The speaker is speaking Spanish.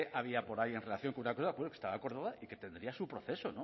había por ahí en relación con una cosa que estaba acordada y que tendría su proceso